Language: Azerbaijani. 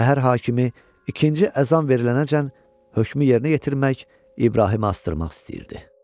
Şəhər hakimi ikinci əzan verilənəcən hökmü yerinə yetirmək, İbrahimi asdırmaq istəyirdi.